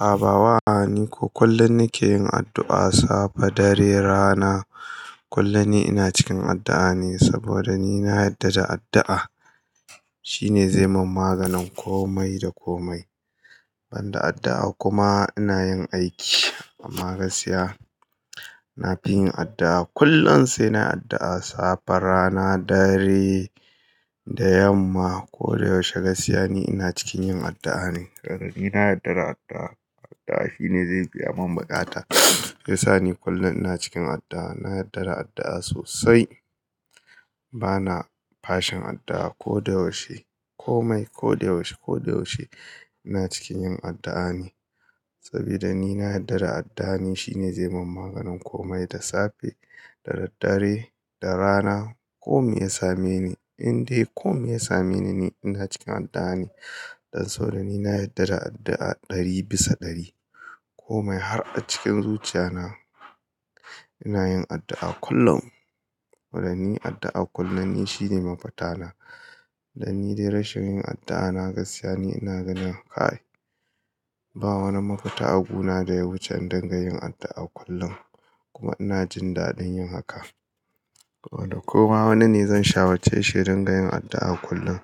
Habawa niko, kullum nike yin addu'a. Safe, dare, rana kullum ni ina cikin addu'a ne saboda ni na yarda da addu'a shine zai mun maganin komai da komai. Ban da addu'a kuma ina yin aiki amma gaskiya na fi yin addu'a. Kullum sai na yi addu'a. Safe, rana, dare da yamma. Ko da yaushe gaskiya ni ina cikin yin addu'a ne saboda ni na yarda da addu'a. Addu'a shine zai biya mun bukata shiyassa ni kullum ina cikin addu'a. Na yarda da addu'a sosai. Bana fashin addu'a ko da yaushe. Komai ko da yaushe, ko da yaushe ina cikin yin addu'a ne sabida ni na yarda da addu'a ne shine zai mun maganin komai da safe, da daddare, da rana komai ya same ni. Inde komai ya same ni ne ina cikin addu'a ne. Dan saboda ni na yarda da addu'a ɗari bisa ɗari. Komai har a cikin zuciya na ina yin addu'a kullum. Don ni addu'a kullum ni shine mafita na. Dan ni dai rashin yin addu'a na gaskiya ne ina gani kai. Ba wani mafita a guna da ya wuce in dingayin addu'a kullum kuma ina jin daɗin yin haka. Koma wani ne zan shawarce shi ya dinga yin addu'a kullum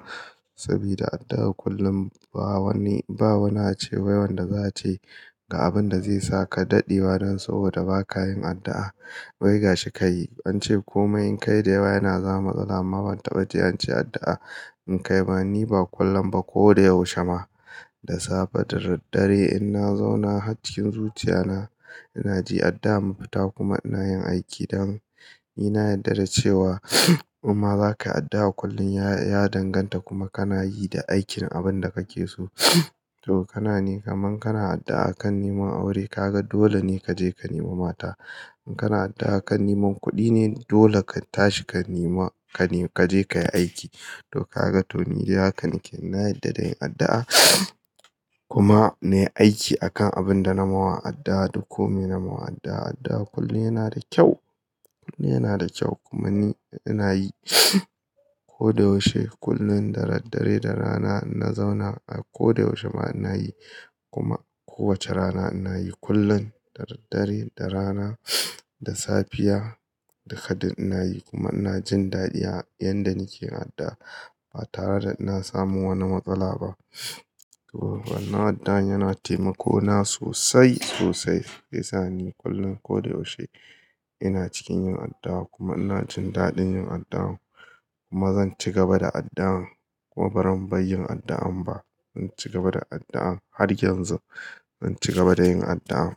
sabida addu'a kullum ba wani, ba wani ace wai wanda za a ce ga abin da zai saka daɗe wa dan saboda ba ka yin addu'a. Wai gashi ka yi. An ce komai in kai da yawa yana zama matsala amma ban taba ji an ce addu'a in kai ba. Niba kullum ba, koda yaushe ma da safe da daddare, inna zauna har cikin zuciyana, inajin addu'a mafita kuma inayin aiki dan nina yadda dacewa imma zakayi addu'a kullum ya danganta kuma kanayi da aikin abunda kakeso to kamar kana addu'a akan neman aure, kaga dolene kaje kanemo mata in kana addu'a akan neman kudine dole katashi kanema, kaje kayi aiki to kaga toni dai haka nake, nayadda dayin addu'a kuma nayi aiki akan abunda nayima addu'a, da komai nayiwa addu'a, addu'a kullum yanada kyau, kullum yanada kyau, kuma ni inayi. Koda yaushe kullum da daddare, da rana inna zauna a koda yaushe ma inayi, kuma kowace rana inayi kullum da daddare, da rana, da Safiya, duka dai inayi kuma inajin dadin yadda nakeyi ba tareda ina samun wani matsala ba ToWannan addu'a yana taimakona sosai sosai, shiyassa ni kullum koda yaushe ina cikin yin addu'a, kuma inajin daɗin yin addu'a, kuma zanci gaba da addu'a, kuma bazan bar yin addu'a ba, inci gaba da addu'a, haryanzu, zanci gaba da addu'a.